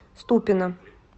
ступино